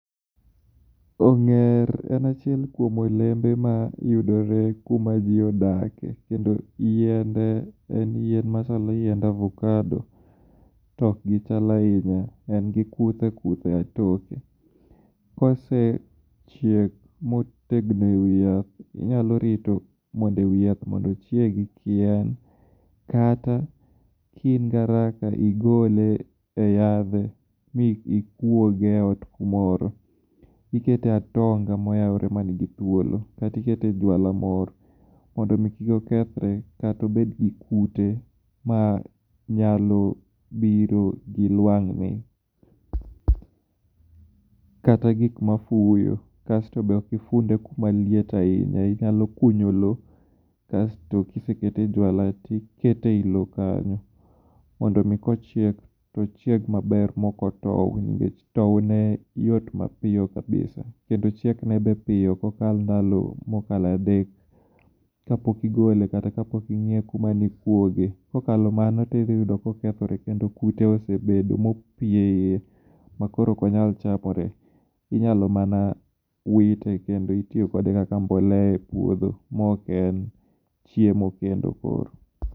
Ong'er en achiel kuom olembe mayudore kuma ji odake, kendo yiende en yien machalo yiend avocado. Tok gichal ahinya, en gi kuthe kuthe e toke. Kosechiek motegno e wii yath, inyalo rito mondo e wii yath mondo ochiegi ki en, kata ka in gi haraka igole e yadhe mi ikuoge e ot kumoro. Ikete e atonga moyaore ma nigi thuolo, kata ikete e juala moro. Mondo mi kik othere kata obed gi kute ma nyalo biro gi lwang'ni, kata gik mafuyo. Kasto be okifunde kuma liet ahinya. Inyalo kunyo loo, kasto kisekete e juala tikete ei loo kanyo, mondo mi kochiek, tochiek maber mokotow nikech tow ne yot mapiyo kabisa kendo chiek ne be piyo, okokal ndalo mokalo adek, kapok igole kata ka pok ing'iye kuma nikuoge. Kokalo mano tidhiyudo kokethore kendo kute osebedo mopi e iye makoro okonyal chamore. Inyalo mana wite kendo itiyo kode kaka mbolea e puodho ma ok en chiemo kendo koro.